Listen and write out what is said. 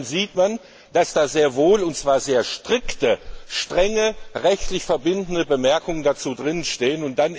Dann sieht man, dass da sehr wohl und zwar sehr strikte, strenge, rechtlich verbindliche Bemerkungen dazu drinstehen.